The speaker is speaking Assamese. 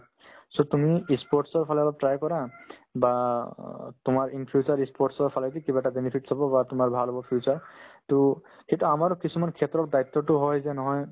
so, তুমি ই sports ৰ ফালে অলপ try কৰা বা অ তোমাৰ in future ই sports ৰ ফালেদি কিবা এটা benefits হ'ব বা তোমাৰ ভাল হ'ব future to কিন্তু আমাৰ কিছুমান ক্ষেত্ৰত দায়িত্বতো হয় যে নহয়